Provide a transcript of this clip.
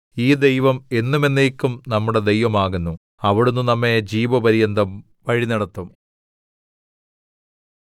ഈ ദൈവം എന്നും എന്നേക്കും നമ്മുടെ ദൈവം ആകുന്നു അവിടുന്ന് നമ്മെ ജീവപര്യന്തം വഴിനടത്തും